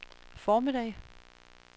formiddag